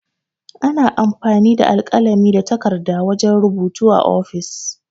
Ana amfani da alkalami da takarɗa wajan rubutu a ofis.